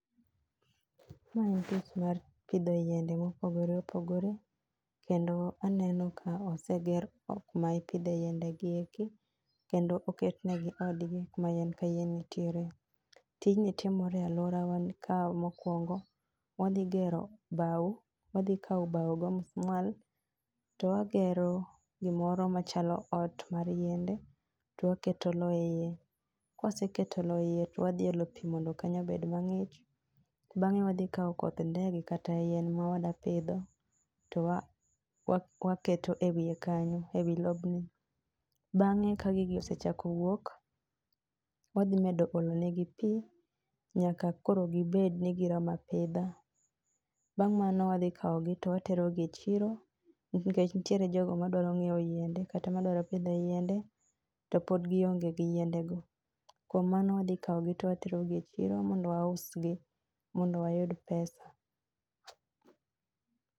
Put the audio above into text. Ma en tich mar pidho yiende mopogore opogore kendo aneno ka oseger ot ma ipidhe yiende gi. Kendo oketnegi odni kuma yien ka yien nitiere. Tijni timore e aluora wa gikaw mokuongo wadhi gero bao, wadhi kao bao gi omusmal to wagero gimoro machalo ot mar yiende to waketo loo eiye ,kawaseketo loo e iye to wadhi olo pii mondo kanyo obed mangich, bang'e wadhi kao koth ndege kata yien ma wadwa pidho to waketo e wiye kanyo, ewi lobni. Bang'e ka gigi osechako wuok wadhi medo olonegi pii nyaka kodro gibed ni giromo apidha. Bang' mano to wadhi kawgi to watero e chiro nikech nitiere jogo madwa nyiew yiende kata madwa pidho yiende to pod gionge gi yiende go. Kuom mano wadhi kao gi to watero gi e chiro mondo waus gi mondo wayud pesa